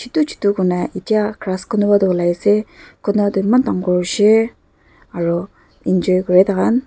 chutu chutu kurina etya grass kunuba toh olai ase kunuba toh eman dangor hoishey aro enjoy kurae takhan.